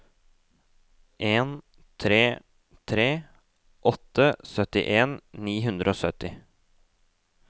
en tre tre åtte syttien ni hundre og sytti